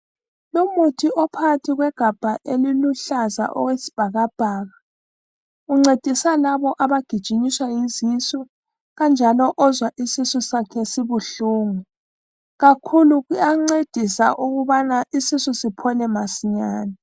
Lumuthi ophakathi kwegabha eliluhlaza okwesibhakabhaka, uncedisa labo abagijinyiswa yizisu, kanjalo ozwa isisu sakhe sibuhlungu. Kakhulu uyancedisa ukubana isisu siphole masinyane.